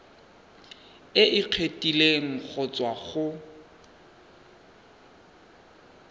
e kgethegileng go tswa go